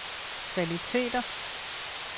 kvaliteter